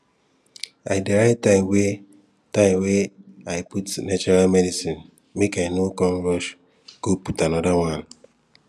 i dey write time wey i time wey i put natural medicine make i no come rush go put anoda one